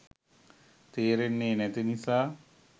තේරෙන්නේ නැති නිසා